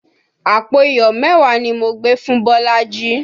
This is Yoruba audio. Àpò iyọ̀ mẹ́wàá ni mo gbé fún Bolaji